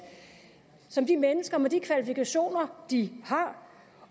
som de mennesker med de kvalifikationer de har